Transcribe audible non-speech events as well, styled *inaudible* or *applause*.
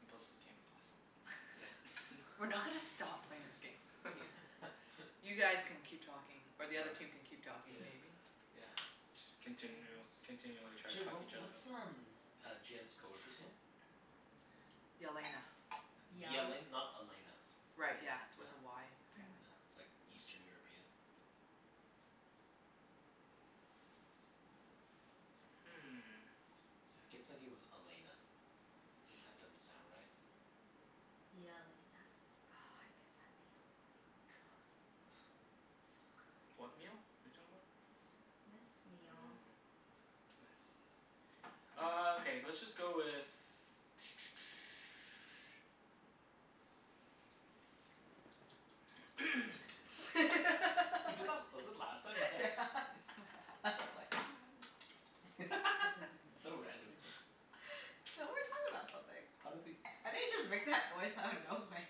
And plus this game is awesome. Yeah. *laughs* We're *laughs* not gonna stop playing this game. *laughs* Yeah. You guys *laughs* can keep talking, or All right. the other team can keep talking, Yeah. *noise* maybe? Yeah. Just continu- *inaudible* continually to try to Sorry fuck what each other up. what's um uh Jenn's coworker's name? Yelena. Yal- Yele- not Elena? Right, yeah. It's Yeah. with a Y Yeah. Yeah. apparently. It's like Eastern European? Hmm. Yeah, I kept thinking it was Elena. If that doesn't sound right. Yelena. Oh, I miss that meal. Good. *noise* So good. What meal? What are you talking about? This this meal. Mm. Nice. Ah, okay. Let's just go with *noise* *noise* *laughs* He did that, was it last time? Yeah. Yeah. *laughs* That's *laughs* why I'm like *noise* *laughs* So random. *laughs* So, we were talking about something. How did he I didn't just make that noise out of nowhere.